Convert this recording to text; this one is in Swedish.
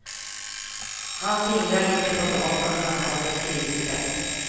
Han fingrar lite på datorn han har på skrivbordet.